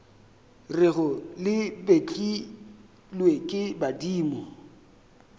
rego le betlilwe ke badimo